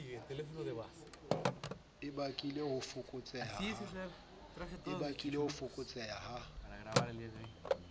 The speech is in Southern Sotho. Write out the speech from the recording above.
e bakile ho fokotseha ha